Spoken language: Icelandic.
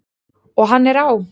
Og hann er á!